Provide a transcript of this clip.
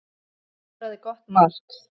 Skoraði gott mark.